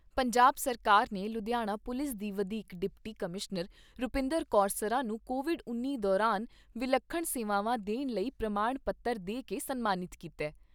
ਪੰਜਾਬ ਸਰਕਾਰ ਨੇ ਲੁਧਿਆਣਾ ਪੁਲਿਸ ਦੀ ਵਧੀਕ ਡਿਪਟੀ ਕਮਿਸ਼ਨਰ ਰੁਪਿੰਦਰ ਕੌਰ ਸਰਾਂ ਨੂੰ ਕੋਵਿਡ ਉੱਨੀ ਦੌਰਾਨ ਵਿਲੱਖਣ ਸੇਵਾਵਾਂ ਦੇਣ ਲਈ ਪ੍ਰਮਾਣ ਪੱਤਰ ਦੇ ਕੇ ਸਨਮਾਨਿਤ ਕੀਤਾ ।